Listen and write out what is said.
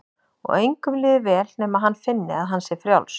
Og engum líður vel nema hann finni að hann sé frjáls.